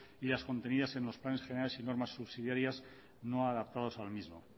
y las contenidas en los planes generales y normas subsidiarias no adaptadas al mismo